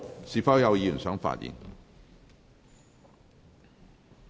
是否有委員想發言？